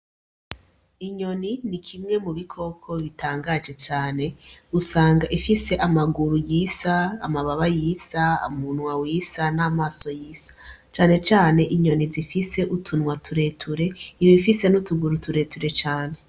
Inyoni ni kimwe mu bikoko bitangaje cane, usanga ifise amaguru yisa, amababa yisa, umunwa wisa n'amaso yisa cane cane inyoni zifise utunwa tureture iba ifise n'utuguru tureture cane.